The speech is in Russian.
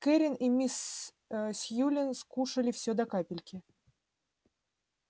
кэррин и мисс сьюлин скушали все до капельки